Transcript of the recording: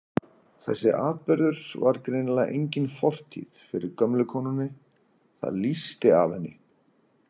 Þessi atburður var greinilega engin fortíð fyrir gömlu konunni, það lýsti af henni.